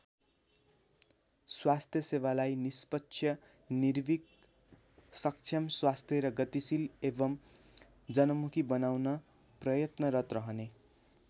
स्वास्थ्यसेवालाई निष्पक्ष निर्भिक सक्षम स्वस्थ र गतिशील एवम् जनमुखी बनाउन प्रयत्नरत रहने।